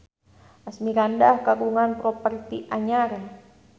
Asmirandah kagungan properti anyar